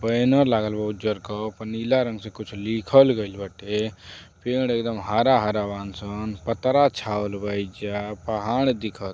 Banner लागल बा उज्जर रंग क। ओप नीला रंग से कुछ लिखल गइल बाटे। पेड़ एकदम हरा हरा बान सन। पतरा छावल बा एइजा। पहाड़ दिखत --